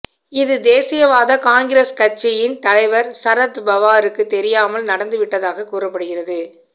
இது தேசியவாத காங்கிரஸ் கட்சியின் தலைவர் சரத் பவாருக்கு தெரியாமல் நடந்துவிட்டதாக கூறப்படுகிறது